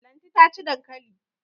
Lanti ta ci dankali.